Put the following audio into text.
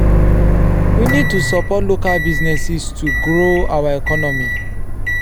we need to support local businesses to grow our economy.